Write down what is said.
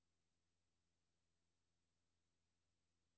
Erstat det markerede ord med følgende.